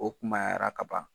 O kumayara kaban.